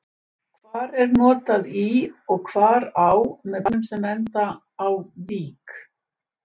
Hvar er notað í og hvar á með bæjarnöfnum sem enda á-vík?